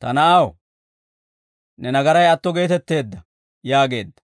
«Ta na'aw, ne nagaray atto geetetteedda» yaageedda.